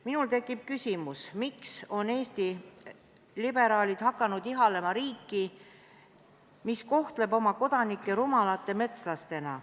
Minul tekib küsimus, miks on Eesti liberaalid hakanud ihalema riiki, mis kohtleb oma kodanikke rumalate metslastena.